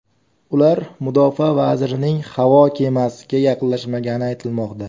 Ular mudofaa vazirining havo kemasiga yaqinlashmagani aytilmoqda.